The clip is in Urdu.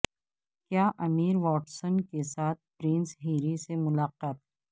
کیا امیر واٹسن کے ساتھ پرنس ہیری سے ملاقات